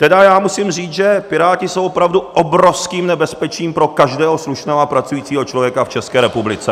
Tedy já musím říct, že Piráti jsou opravdu obrovským nebezpečím pro každého slušného a pracujícího člověka v České republice.